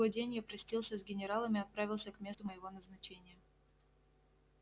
на другой день я простился с генералом и отправился к месту моего назначения